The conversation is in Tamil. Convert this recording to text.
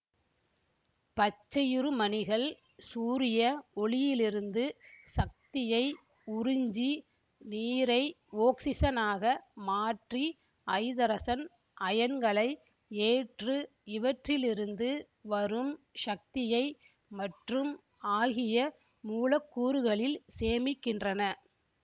பச்சையுருமணிகள் சூரிய ஒளியிலிருந்து சக்தியை உறிஞ்சி நீரை ஒக்சிசனாக மாற்றி ஐதரசன் அயன்களை ஏற்று இவற்றிலிருந்து வரும் சக்தியை மற்றும் ஆகிய மூலக்கூறுகளில் சேமிக்கின்றன